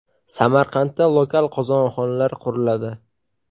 Samarqandda lokal qozonxonalar quriladi.